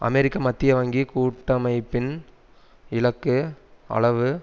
அமெரிக்க மத்திய வங்கி கூட்டமைப்பின் இலக்கு அளவு